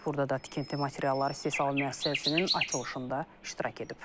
Burda da tikinti materialları istehsalı müəssisəsinin açılışında iştirak edib.